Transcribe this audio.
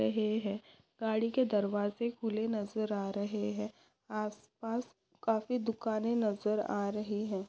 रहे है। गाड़ी के दरवाजे खुले नज़र आ रहे है। आस पास काफी दुकाने नजर आ रही है।